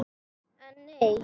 En nei!